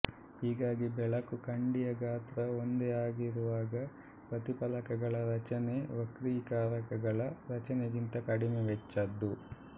ಹೀಗಾಗಿ ಬೆಳಕು ಕಂಡಿಯ ಗಾತ್ರ ಒಂದೇ ಆಗಿರುವಾಗ ಪ್ರತಿಫಲಕಗಳ ರಚನೆ ವಕ್ರೀಕಾರಕಗಳ ರಚನೆಗಿಂತ ಕಡಿಮೆ ವೆಚ್ಚದ್ದು